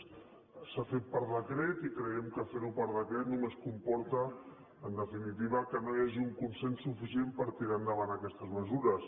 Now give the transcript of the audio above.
s’ha fet per decret i creiem que fer ho per decret només comporta en definitiva que no hi hagi un consens suficient per tirar endavant aquestes mesures